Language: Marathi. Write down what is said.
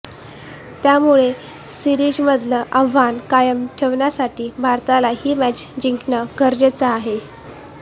त्यामुळे सीरिजमधलं आव्हान कायम ठेवण्यासाठी भारताला ही मॅच जिंकणं गरजेचं आहे